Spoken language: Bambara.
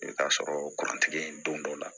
I bɛ t'a sɔrɔ kuruntigi ye don dɔ la